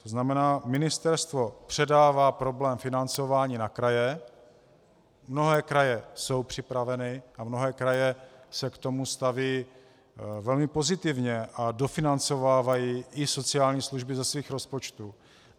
To znamená, ministerstvo předává problém financování na kraje, mnohé kraje jsou připraveny a mnohé kraje se k tomu stavějí velmi pozitivně a dofinancovávají i sociální služby ze svých rozpočtů.